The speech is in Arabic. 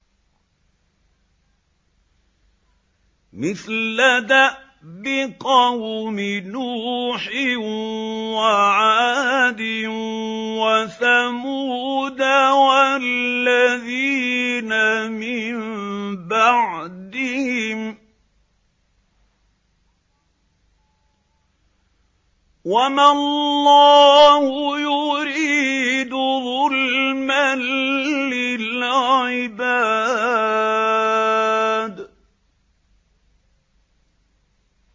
مِثْلَ دَأْبِ قَوْمِ نُوحٍ وَعَادٍ وَثَمُودَ وَالَّذِينَ مِن بَعْدِهِمْ ۚ وَمَا اللَّهُ يُرِيدُ ظُلْمًا لِّلْعِبَادِ